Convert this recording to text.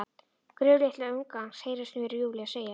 Gröf litla ungans, heyrist mér Júlía segja.